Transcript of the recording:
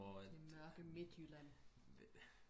det mørke midtjylland